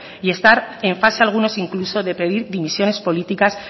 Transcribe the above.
y estar en fase algunos incluso de pedir dimisiones políticas